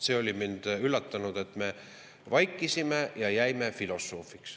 Mind üllatas, et me vaikisime ja jäime filosoofiks.